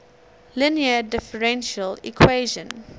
linear differential equation